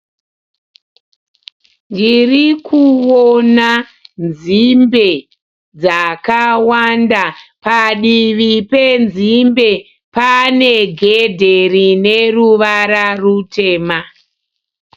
Ndirikuona nzimbe dzakawanda, padivi penzimbe pane gedhe rine ruvara rutema.